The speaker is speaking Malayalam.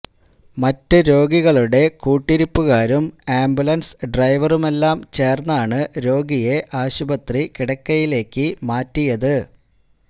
മറ്റു രോഗികളുടെ കൂട്ടിരിപ്പുകാരും ആംബുലന്സ് ഡ്രൈവറുമെല്ലാം ചേര്ന്നാണ് രോഗിയെ ആശുപത്രി കിടക്കയിലേക്ക് മാറ്റിയത്